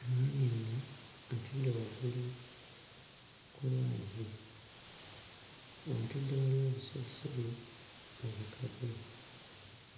Omwami ono atudde waggulu ku lwazi atudde waliwoobusubisubi obukaze.